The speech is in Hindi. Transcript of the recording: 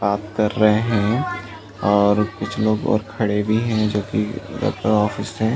ताप कर रहे हे और कुछ लोग और खड़े भी है जो कि लगता है ऑफिस है।